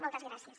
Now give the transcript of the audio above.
moltes gràcies